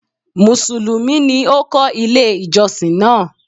Mùsùlùmí ni ó kọ́ ilé ìjọsìn náà.